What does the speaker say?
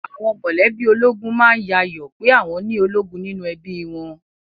Àwọn mọ̀lẹ́bí ológun má ń yayọ̀ ọ pé àwọn ni ológun nínú ẹbí i wọn